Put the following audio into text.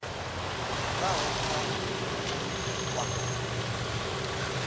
i bvaho kha kuvhonele kwa